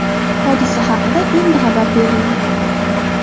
Hodisa haqida endi xabar berildi.